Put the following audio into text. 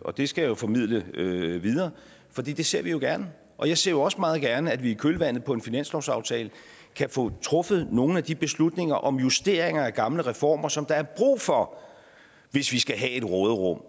og det skal jeg formidle videre for det ser vi gerne og jeg ser jo også meget gerne at vi i kølvandet på en finanslovsaftale kan få truffet nogle af de beslutninger om justeringer af gamle reformer som der er brug for hvis vi skal have et råderum